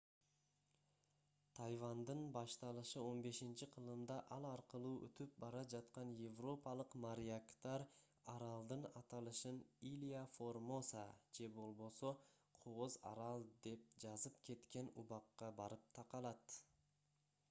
тайвандын башталышы 15-кылымда ал аркылуу өтүп бара жаткан европалык моряктар аралдын аталышын илья формоса же болбосо кооз арал деп жазып кеткен убакка барып такалат